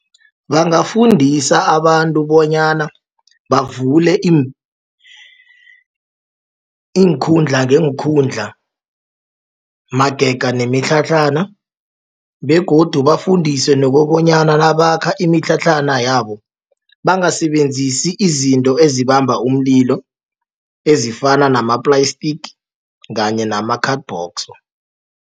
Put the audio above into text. Bangafundisa abantu bonyana bavule iinkhundla ngeenkhundla magega nemitlhatlhana begodu bafundiswe nokobonyana nabakha imitlhatlhana yabo bangasebenzisi izinto ezibamba umlilo ezifana nama-plastic kanye nama-cardbox.